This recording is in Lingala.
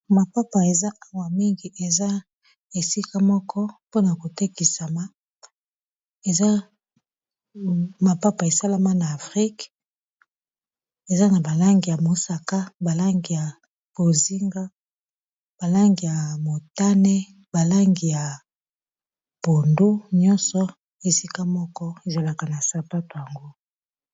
Mapapa eza awa mingi eza esika moko pona kotekisa eza mapapa esalama na afrika eza na ba langi ya mosaka ,ba langi ya bozinga, ba langi ya motane ,balangi ya pondu ,nyonso esika moko na sapato yango.